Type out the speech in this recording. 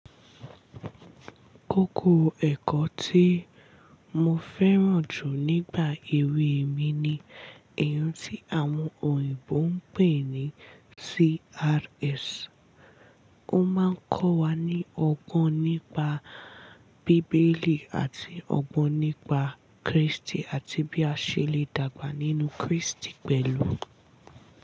Kókó ẹ̀kọ́ tí mo fẹ́ràn jù nígbà èwe mi ni èyí tí àwọn òyìnbó ń pè ní CRS. Ó máa ń kọ́ wa ní ọgbọ́n nípa Bíbélì àti ọgbọ́n nípa Krístì àti bí a ṣe lè dàgbà nínú Krístì pẹ̀lú.